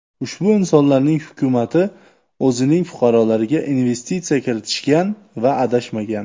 Ushbu insonlarning hukumati o‘zining fuqarolariga investitsiya kiritishgan va adashmagan.